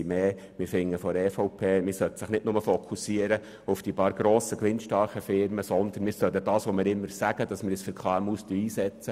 Die EVP-Fraktion findet, wir sollten uns nicht nur auf die wenigen grossen, gewinnstarken Firmen stützen, sondern das tun, was wir immer sagen, uns nämlich für die KMU einsetzen.